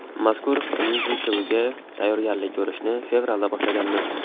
Mazkur myuziklga tayyorgarlik ko‘rishni fevralda boshlaganmiz.